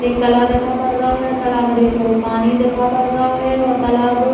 एक बड़ो तालाब दिखा पड़ रहो है। तालाब में ढेर भरो पानी दिखा पड़ रहो है और तालाब --